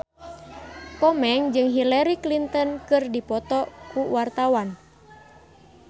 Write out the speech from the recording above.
Komeng jeung Hillary Clinton keur dipoto ku wartawan